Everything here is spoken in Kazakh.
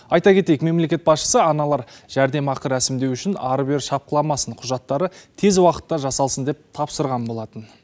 айта кетейік мемлекет басшысы аналар жәрдемақы рәсімдеу үшін ары бері шапқыламасын құжаттары тез уақытта жасалсын деп тапсырған болатын